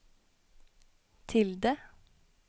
tilde